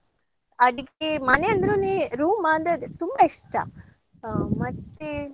ಅಡಿಗೆ ಮನೆ ಅಂದ್ರೇನೆ room ಅಂದ್ರೆ ಅದೇ ತುಂಬಾ ಇಷ್ಟ ಹಾ ಮತ್ತೇ.